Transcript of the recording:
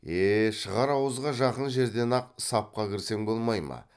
е шығар ауызға жақын жерден ақ сапқа кірсең болмай ма